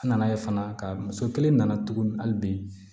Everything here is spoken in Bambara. An nana ye fana ka muso kelen nana tuguni hali bi